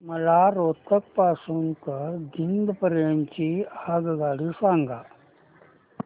मला रोहतक पासून तर जिंद पर्यंत ची आगगाडी सांगा